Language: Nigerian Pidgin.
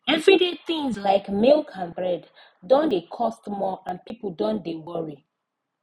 everyday things like milk and bread don dey cost more and people don dey worry